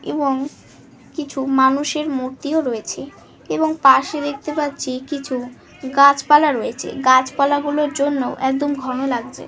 এবং কিছু মানুষের মূর্তিও রয়েছে এবং পাশে দেখতে পাচ্ছি কিছু গাছপালা রয়েছে। গাছপালা গুলোর জন্য একদম ঘন লাগছে।